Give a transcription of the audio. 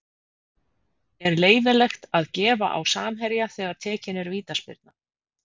Er leyfilegt að gefa á samherja þegar tekin er vítaspyrna?